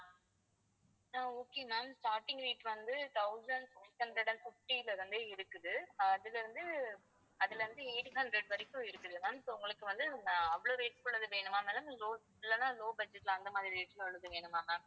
ஆஹ் okay ma'am starting rate வந்து thousand six hundred and fifty ல இருந்தே இருக்குது அதுல இருந்து அதுல இருந்து eight hundred வரைக்கும் இருக்குது ma'am so உங்களுக்கு வந்து ஆஹ் அவ்வளவு rate கு உள்ளது வேணுமா ma'amlow இல்லைன்னா low budget அந்த மாதிரி rate ல உள்ளது வேணுமா ma'am